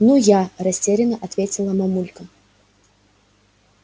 ну я растеряно ответила мамулька